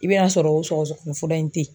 I bɛ a sɔrɔ o sɔgɔsɔgɔni fɔlɔ in te ye